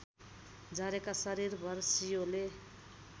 झरेका शरीरभर सियोले